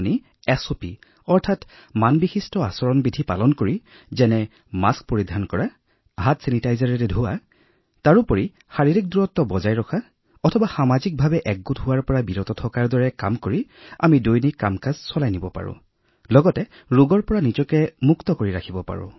যদি আমি এছঅপিৰ সুৰক্ষামূলক ব্যৱস্থা ৰূপায়ণ কৰো যেনে মাস্ক পৰিধাৰ কৰা হেণ্ড চেনিটাইজাৰ ব্যৱহাৰ কৰা শাৰীৰিক দূৰত্ব বিধি বা সামাজিক সমাৱেশ পৰিহাৰ কৰা তেতিয়া আমি আমাৰ দৈনন্দিন কামবোৰো কৰিব পাৰিম আৰু এই ৰোগৰ পৰাও সুৰক্ষা লাভ কৰিব পাৰিম